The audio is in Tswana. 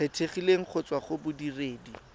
kgethegileng go tswa go bodiredi